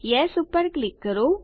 yes ઉપર click કરો